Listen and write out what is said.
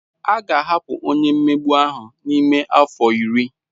A ga-ahapụ onye mmegbu ahụ n'ime afọ iri.